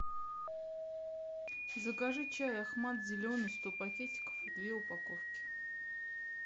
закажи чай ахмад зеленый сто пакетиков две упаковки